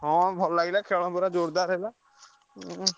ହଁ ଭଲ ଲାଗିଲା ଖେଳ ପୁରା ଜୋରଦାର ହେଲା ଉଁ।